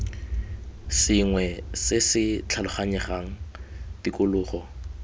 sengwe se se tlhaloganyegang tikologo